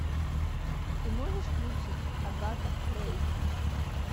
ты можешь включить агата рэйзин